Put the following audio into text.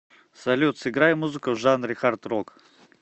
салют сыграй музыку в жанре хард рок